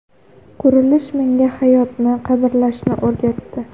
Qurilish menga hayotni qadrlashni o‘rgatdi”.